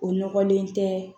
O ɲɔgɔlen tɛ